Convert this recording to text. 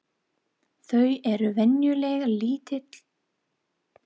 Þau eru venjulega lítil um sig og oft djúp.